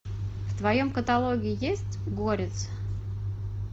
в твоем каталоге есть горец